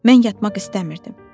Mən yatmaq istəmirdim.